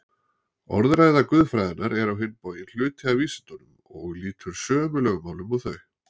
Orðræða guðfræðinnar er á hinn bóginn hluti af vísindunum og lýtur sömu lögmálum og þau.